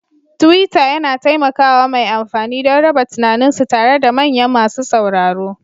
Tuwiitter yana taimaka wa mai amfani don raba tunaninsu tare da manyan masu sauraro